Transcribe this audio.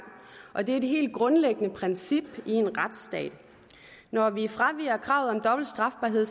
og det er det helt grundlæggende princip i en retsstat når vi fraviger kravet om dobbelt strafbarhed